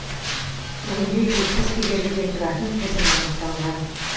бүгінде жетпіс кедергіден тұратын тізім анықталған